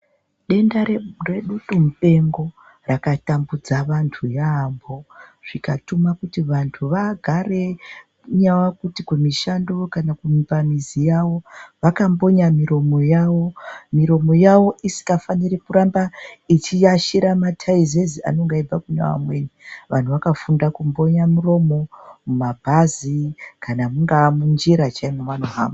Denda redutumupengo rakatambudza vantu yaamho, zvikatuma kuti vantu vagare kungaa kuti kumushando kana pamizi yavo vakambonya miromo yavo. Miromo yavo isikafaniri kuramba ichiashira mathaizezi anonga eibva kune vamweni. Vantu vakafunda kumbonya muromo mumabhazi, kana mungaa munjira chaimo mevanohamba.